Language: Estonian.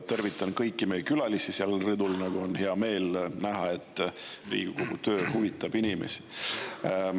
Tervitan kõiki meie külalisi seal rõdul, on hea meel näha, et Riigikogu töö huvitab inimesi.